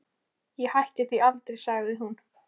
Ég hætti því aldrei, sagði hún.